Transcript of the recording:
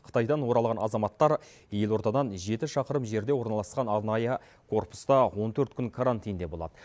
қытайдан оралған азаматтар елордадан жеті шақырым жерде орналасқан арнайы корпуста он төрт күн карантинде болады